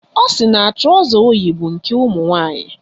Ọ sị na trọza o yi bụ nke ụmụnwaanyị.